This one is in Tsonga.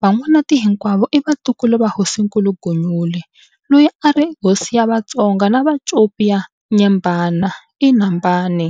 Van'wanati hinkwavo i vantukulu va Hosinkulu Gunyule, loyi a ri hosi ya va Tonga na Vacopi va Nyembani, Inhambane.